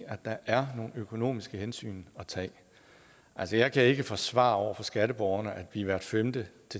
at der er nogle økonomiske hensyn at tage altså jeg kan ikke forsvare over for skatteborgerne at de hvert femte